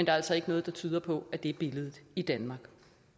er altså ikke noget der tyder på at det er billedet i danmark